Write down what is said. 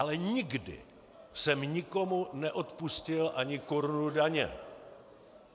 Ale nikdy jsem nikomu neodpustil ani korunu daně.